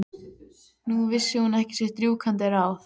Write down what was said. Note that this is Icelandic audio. Nú vissi hún ekki sitt rjúkandi ráð.